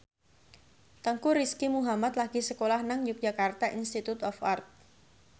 Teuku Rizky Muhammad lagi sekolah nang Yogyakarta Institute of Art